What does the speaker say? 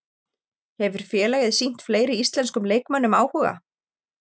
Hefur félagið sýnt fleiri íslenskum leikmönnum áhuga?